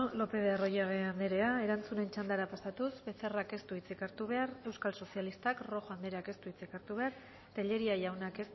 lopez de arroyabe anderea erantzunen txandara pasatuz becerrak ez du hitzik hartu behar euskal sozialistak rojo andereak ez du hitzik hartu behar tellería jaunak